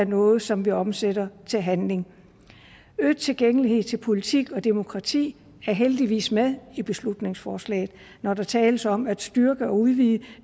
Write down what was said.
noget som vi omsætter til handling øget tilgængelighed til politik og demokrati er heldigvis med i beslutningsforslaget når der tales om at styrke og udvide